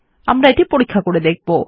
আমরা এটি পরীক্ষা করে দেখব